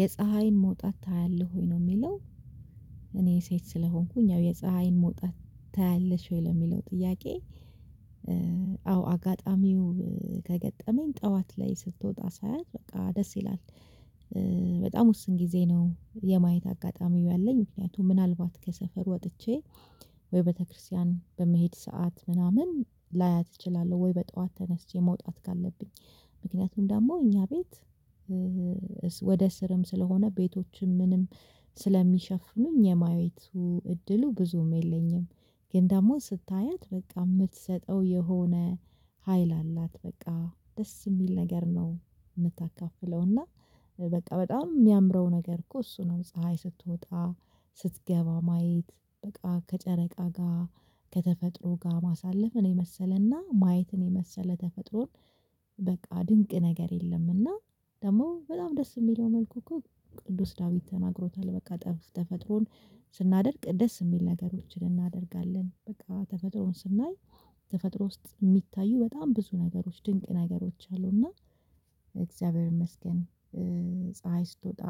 የፀሀይን መውጣት ታያለህ ወይ ነው የሚለው እኔ ሴት ስለሆንኩኝ ያው የፀሀይን መውጣት ታያለሽ ወይ ለሚለው ጥያቄ አዎ አጋጣሚው ከገጠመኝ ጠዋት ላይ ስትወጣ ሳያት በቃ ደስ ይላል። በጣም ውስን ጊዜ ነው የማየት አጋጣሚው ያለኝ ምክንያቱም ምናልባት ከሰፈር ወጥቼ ወይ ቤተክርስቲያን በምሄድ ሰዓት ምናምን ላያት እችላለሁ ወይ በጧት ተነስቼ መውጣት ካለብኝ ምክንያቱም ደግሞ እኛ ቤት ወደ ስርም ስለሆነ ቤቶችም ምንም ስለሚሸፍኑኝ የማየቱ እድሉ ብዙም የለኝም። ግን ደግሞ ስታያት በቃ የምትሰጠው የሆነ ሀይል አላት በቃ ደስ የሚል ነገር ነው የምታካፍለው እና በቃ በጣም የሚያምረው ነገር እኮ እሱ ነው ፀሀይ ስትወጣ ስትገባ ማየት በቃ ከጨረቃ ጋር ከተፈጥሮ ጋር ማሳለፍን የመሰለና ማየትን የመሰለ ተፈጥሮ በቃ ድንቅ ነገር የለም እና ደግሞ በጣም ደስ የሚለው መልኩ እኮ ቅዱስ ዳዊት ተናግሮታል በቃ ተፈጥሮን ስናደንቅ ደስ የሚል ነገሮችን እናደርጋለን በቃ ተፈጥሮን ስናይ ተፈጥሮ ውስጥ የሚታዩ በጣም ብዙ ነገሮች ድንቅ ነገሮች አሉና እግዚአብሔር ይመስገን ፀሀይ ስትወጣ